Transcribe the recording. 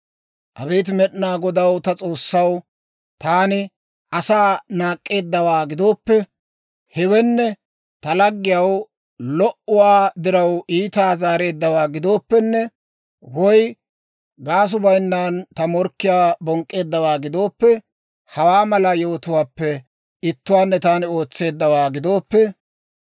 Abeet Med'inaa Godaw ta S'oossaw, Taani asaa naak'k'eeddawaa gidooppe, Hewenne ta laggiyaw lo"uwaa diraw iitaa zaareeddawaa gidooppenne, Woy gaasuu bayinnan ta morkkiyaa bonk'k'eeddawaa gidooppe, Hawaa mala yewotuwaappe ittuwaanne taani ootseeddawaa gidooppe,